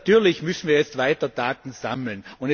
Natürlich müssen wir jetzt weiter Daten sammeln.